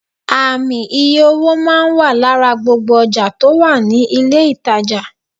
Ààmì iye owó máa n wà lára gbogbo ojà tò wà ní ilé ìtajà